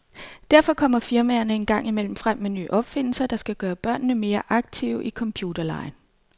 Derfor kommer firmaerne en gang imellem frem med nye opfindelser, der skal gøre børnene mere aktive i computerlegen.